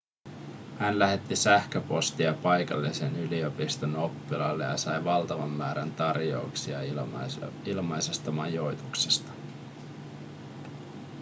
hän lähetti sähköpostia paikallisen yliopiston oppilaille ja sai valtavan määrän tarjouksia ilmaisesta majoituksesta